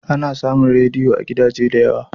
Ana samun rediyo a gidaje da yawa.